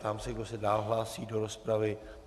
Ptám se, kdo se dál hlásí do rozpravy.